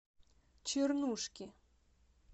чернушки